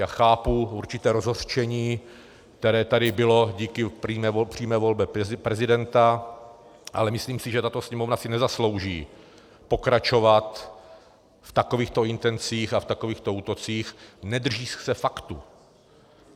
Já chápu určité rozhořčení, které tady bylo díky přímé volbě prezidenta, ale myslím si, že tato Sněmovna si nezaslouží pokračovat v takovýchto intencích a v takovýchto útocích, nedržíc se faktů.